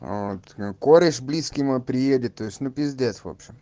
кореш мой близкими приедет то есть ну пиздец в общем